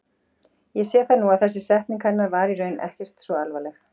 Ég sé það nú að þessi setning hennar var í raun ekkert svo alvarleg.